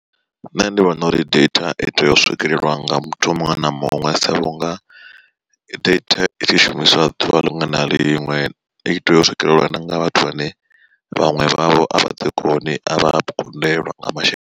Nṋe ndi vhona uri data i tea u swikelelwa nga muthu muṅwe na muṅwe sa vhunga, data i tshi shumiswa ḓuvha liṅwe na liṅwe i tea u swikelelwa nga vhathu vhane vhaṅwe vhavho avha ḓi koni a vha kundelwa nga masheleni.